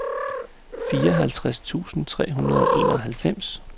fireoghalvtreds tusind tre hundrede og enoghalvfems